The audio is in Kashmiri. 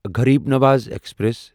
غریٖب نواز ایکسپریس